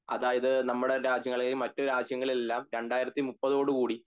അതായത് നമ്മുടെ രാജ്യങ്ങളെയും മറ്റുള്ള രാജ്യങ്ങളിളെല്ലാം രണ്ടായിരത്തിമുപ്പതോടെ കൂടി